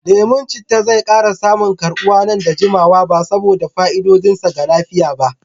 Lemon citta zai ƙara samun karɓuwa nan ba da jimawa ba saboda fa'idodin sa ga lafiya.